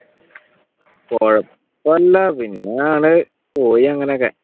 കുഴപ്പം ഇല്ല പിന്നെ പോയി അങ്ങനൊക്കെ